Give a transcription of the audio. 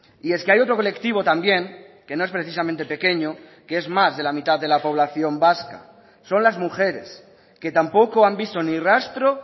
y es que hay otro colectivo también que no es precisamente pequeño que es más de la mitad de la población vasca son las mujeres que tampoco han visto ni rastro